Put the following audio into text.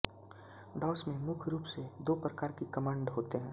DOS में मुख्य रूप से दो प्रकार की कमांड होते हैं